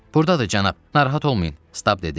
Burdadır cənab, narahat olmayın,